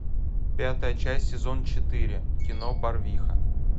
пятая часть сезон четыре кино барвиха